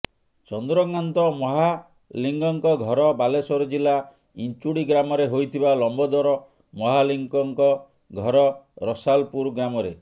ଚନ୍ଦ୍ରକାନ୍ତ ମହାଲିକ୍ଙ୍କ ଘର ବାଲେଶ୍ୱର ଜିଲ୍ଲା ଇଞ୍ଚୁଡି ଗ୍ରାମରେ ହୋଇଥିବା ଲମ୍ବୋଦର ମହାଲିକ୍ଙ୍କ ଘର ରସାଲପୁର ଗ୍ରାମରେ